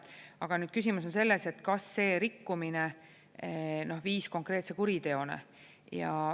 Aga küsimus on selles, et kas see rikkumine viis konkreetse kuriteoni.